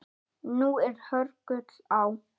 Nú er hörgull á